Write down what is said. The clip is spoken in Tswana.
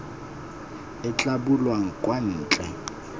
e tla bulwang kwa ntle